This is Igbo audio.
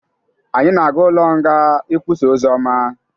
Anyi na-ga ụlo ọ nga ị kwụsa ọzioma